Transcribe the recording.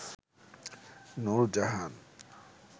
Nurjahan